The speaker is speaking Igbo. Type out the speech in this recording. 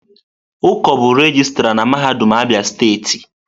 Uko bụ regịstrá na mahadum Abia steeti.